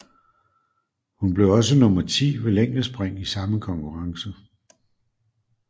Hun blev også nummer 10 ved længdespring i samme konkurrence